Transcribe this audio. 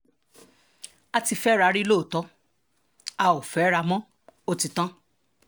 a ti fẹ́ra wa rí lóòótọ́ a ò fẹ́ra wa mọ́ ó ti tán